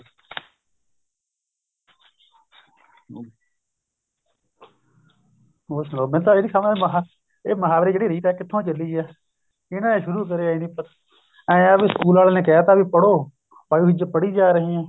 ਹੋਰ ਸੁਨਾਓ ਮੈਨੂੰ ਤਾਂ ਇਹ ਸਮਝ ਨੀ ਆਂਦੀ ਇਹ ਮੁਹਾਵਰੇ ਜਿਹੜੀ ਰੀਤ ਹੈ ਕਿੱਥੋ ਚੱਲੀ ਹੈ ਕਿਹਨੇ ਸ਼ੁਰੂ ਕਰਿਆ ਇਹ ਰੀਤ ਇਹ ਹੈ ਸਕੂਲ ਵਾਲਿਆ ਨੇ ਕਹਿ ਤਾ ਵੀ ਪੜੋ ਪੱਲ ਵਿੱਚ ਪੜੀ ਜਾ ਰਹੇ ਹਾਂ